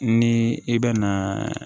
Ni i bɛna